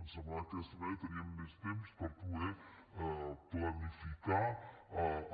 ens semblava que d’aquesta manera teníem més temps per poder planificar